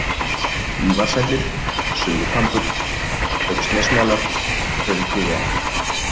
Ívarshellir, Suðurkambur, Haugsnesmelar, Hraunþúfuá